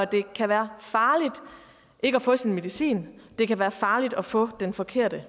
det kan være farligt ikke at få sin medicin det kan være farligt at få den forkerte